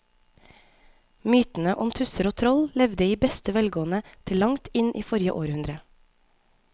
Mytene om tusser og troll levde i beste velgående til langt inn i forrige århundre.